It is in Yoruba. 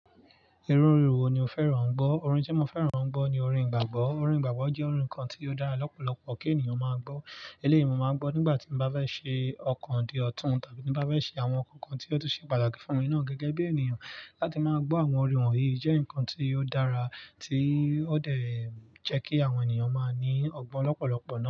Irú orin wo ni o fẹ́ran gbọ́? Òrin tí mo fẹ́ran n gbọ́ ni Òrin Ìgbàgbọ́. Òrin Ìgbàgbọ́ jẹ́ Òrin kan tí ó dára lọ́pọ̀lọpọ̀ ki ènìyàn máa gbọ́. Eléyìí ni mo máa ń gbọ́ nígbà tí mo bá fẹ́ ṣe ọkàn di ọ̀tún tàbí ní bá fẹ́ ṣe àwọn nǹkan tí ó tú ṣe pàtàkì fún mi naa gẹ́gẹ́ bí ènìyàn. Láti máa gbọ́ àwọn orin wọ̀nyí jẹ́ nǹkan tí ó dára tí ó dẹ̀ jẹ́ kí àwọn ènìyàn máa ní ọgbọ́n lọ́pọ̀lọpọ̀ náà.